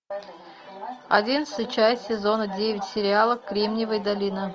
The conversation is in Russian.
одиннадцатая часть сезона девять сериала кремниевая долина